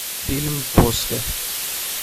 фильм после